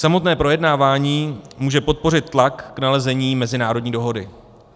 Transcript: Samotné projednávání může podpořit tlak k nalezení mezinárodní dohody.